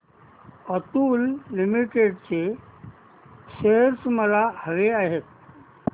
Atul limited चे shares मला हवे आहेत